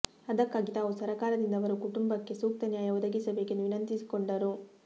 ಅದಕ್ಕಾಗಿ ತಾವು ಸರಕಾರದಿಂದ ಅವರ ಕುಟುಂಬಕ್ಕೆ ಸೂಕ್ತ ನ್ಯಾಯ ಒದಗಿಸಬೇಕೆಂದು ವಿನಂತಿಸಿಕೊಂಡರು